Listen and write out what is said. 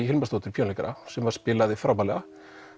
Hilmarsdóttur píanóleikara sem spilaði frábærlega